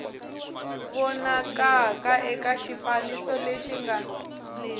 vonakaka eka xifaniso lexi nga